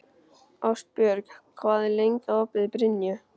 Ástbjört, hvað er lengi opið í Brynju?